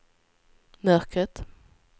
mörkret